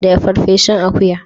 Dafa farfesun akuya.